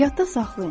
Yadda saxlayın.